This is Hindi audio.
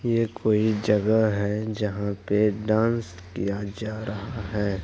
ये कोई जगह है जहां पे डांस किया जा रहा है।